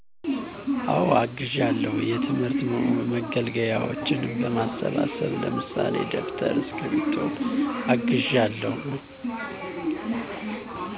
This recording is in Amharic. አወ አግዣለሁ የትምህርት መገልገያዎችን በማሰባሰብ ለምሳሌ ደብተር እስክርቢቶ አግዣለሁ